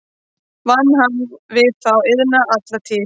Vann hann við þá iðn alla tíð.